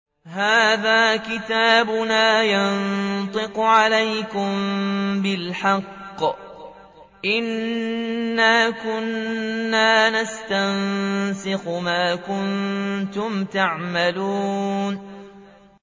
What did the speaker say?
هَٰذَا كِتَابُنَا يَنطِقُ عَلَيْكُم بِالْحَقِّ ۚ إِنَّا كُنَّا نَسْتَنسِخُ مَا كُنتُمْ تَعْمَلُونَ